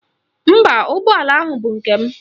Mba, ụgbọala ahụ bụ nke m.